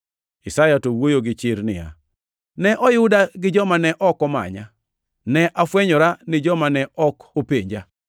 Isaya to wuoyo gi chir niya, “Ne oyuda gi joma ne ok omanya. Ne afwenyora ne joma ne ok openja.” + 10:20 \+xt Isa 65:1\+xt*